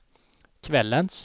kvällens